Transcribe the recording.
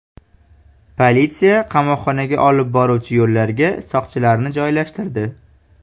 Politsiya qamoqxonaga olib boruvchi yo‘llarga soqchilarni joylashtirdi.